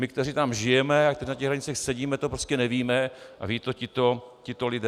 My, kteří tam žijeme a kteří na těch radnicích sedíme, to prostě nevíme a vědí to tito lidé.